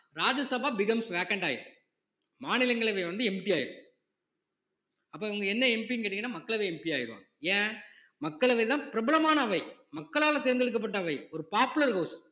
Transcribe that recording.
ராஜ்ய Sabha becomes vacant ஆயிரும் மாநிலங்களவை வந்து empty ஆயிரும் அப்ப இவங்க என்ன MP ன்னு கேட்டீங்கன்னா மக்களவை MP ஆயிடுவாங்க ஏன் மக்களவைதான் பிரபலமான அவை மக்களால தேர்ந்தெடுக்கப்பட்ட அவை ஒரு popular house